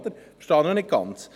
Das verstehe ich nicht ganz.